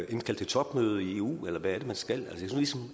indkalde til topmøde i eu eller hvad er det man skal et